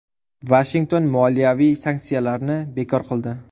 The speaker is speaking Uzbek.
Vashington moliyaviy sanksiyalarni bekor qildi .